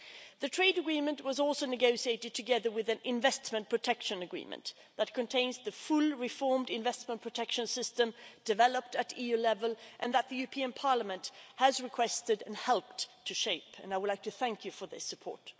The trade agreement was also negotiated together with an investment protection agreement that contains the fully reformed investment protection system developed at EU level, which the European Parliament requested and helped to shape and I would like to thank you for this support.